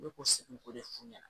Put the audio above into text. Ne b'u segu k'o de f'u ɲɛna